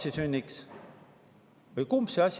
Kumb see ikka on?